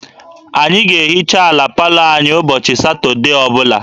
Anyị ga-ehicha ala palọ anyị ụbọchị Satọde ọ bụla